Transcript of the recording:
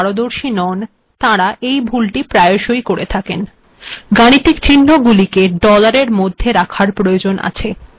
গাণিতিক চিহ্নগুলিকে ডলারের মাধ্যমে রাখার প্রয়োজন আছে এবং এক্ষেত্রে ড্যাশের ব্যবহার করা হয় না